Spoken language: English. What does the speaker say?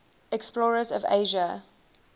explorers of asia